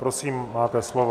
Prosím, máte slovo.